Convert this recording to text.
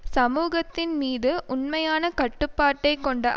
சமூகத்தின் மீது உண்மையான கட்டுப்பாட்டை கொண்ட